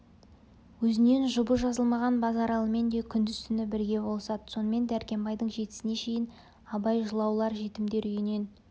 өзінен жұбы жазылмаған базаралымен де күндіз-түн бірге болысады сонымен дәркембайдың жетісіне шейін абай жылаулар жетімдер үйінен